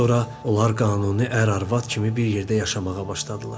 Sonra onlar qanuni ər-arvad kimi bir yerdə yaşamağa başladılar.